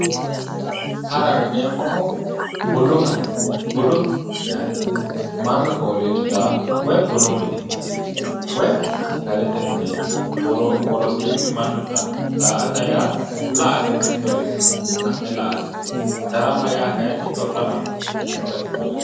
Haraho yineemmohu budu hari budu haraati yaate. Mannu fooliishshiraaho woyi bunu mineeti woy sagalete mineeti. Worosiinni mannu caa'laa. Daa"ata yaa la"ate mittoricho ha'ne la"ate. Darama yaa shorramate mittu bayichii wole bayicho.